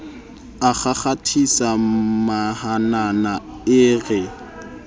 a kgakgathisa mahanana e re